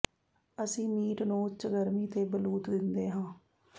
ਅਸੀਂ ਮੀਟ ਨੂੰ ਉੱਚ ਗਰਮੀ ਤੇ ਬਲੂਤ ਦਿੰਦੇ ਹਾਂ